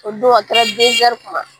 O don a kɛra kuma.